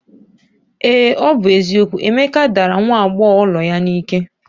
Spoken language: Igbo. Ee ọ bụ eziokwu, Emeka dara nwa agbọghọ ụlọ ya n'ike